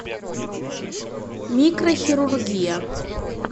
микрохирургия